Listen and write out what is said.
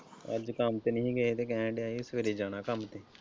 ਅੱਜ ਕੰਮ ਤੇ ਨਹੀਂ ਹੀ ਗਏ ਤੇ ਕਹਿਣ ਦਿਆ ਸੀ ਕਿ ਸਵੇਰੇ ਜਾਣਾ ਕੰਮ ਤੇ।